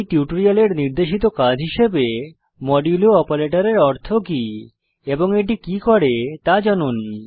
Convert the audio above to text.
এই টিউটোরিয়ালের নির্দেশিত কাজ হিসাবে মডুলো অপারেটরের অর্থ কি এবং এটি কি করে তা জানুন